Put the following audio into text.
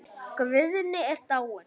Guðni er dáinn.